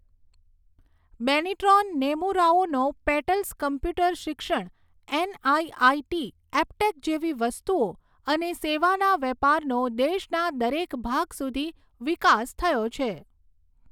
બેનીટ્રોન Numero Uno Petals computer શિક્ષણ NIIT Aptech જેવી વસ્તુઓ અને સેવાના વેપારનો દેશના દરેક ભાગ સુધી વિકાસ થયો છે.